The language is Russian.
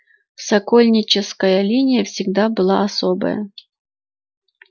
сокольническая линия всегда была особая